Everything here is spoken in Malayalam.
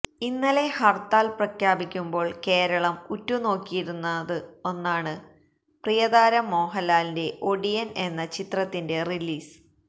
ഇന്നലെ ഹർത്താൽ പ്രഖ്യാപിക്കുമ്പോൾ കേരളം ഉറ്റു നോക്കിയിരുന്ന ഒന്നാണ് പ്രിയതാരം മോഹൻലാലിന്റെ ഒടിയൻ എന്ന ചിത്രത്തിന്റെ റിലീസ്